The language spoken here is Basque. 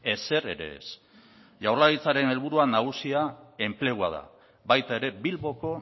ezer ere ez jaurlaritzaren helburu nagusia enplegua da baita ere bilboko